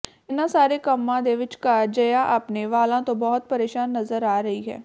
ਇਨ੍ਹਾਂ ਸਾਰੇ ਕੰਮਾਂ ਦੇ ਵਿਚਕਾਰ ਜਯਾ ਆਪਣੇ ਵਾਲਾਂ ਤੋਂ ਬਹੁਤ ਪ੍ਰੇਸ਼ਾਨ ਨਜ਼ਰ ਆ ਰਹੀ ਹੈ